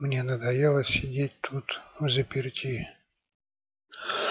мне надоело сидеть тут взаперти